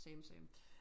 Same same